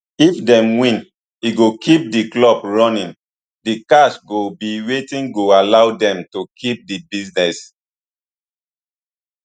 if dem win e go keep di club running di cash go be wetin go allow dem to keep di business